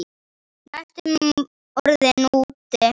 Næstum orðinn úti